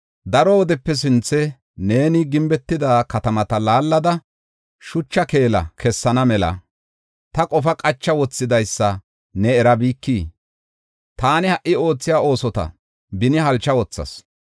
“Daro wodepe sinthe neeni gimbetida katamata laallada, shucha keela kessana mela, ta qofaa qacha wothidaysa ne erabikii? Taani ha77i oothiya oosota beni halcha wothas.